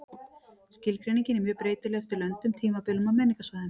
Skilgreiningin er mjög breytileg eftir löndum, tímabilum og menningarsvæðum.